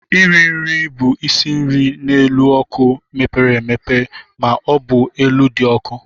Iri nri bụ isi nri n'elu ọkụ mepere emepe ma ọ bụ elu dị ọkụ.